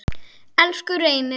Elsku Reynir.